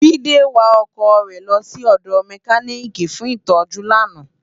Jide wá òkò re lò si òdò mèkánikí fún itòjú làná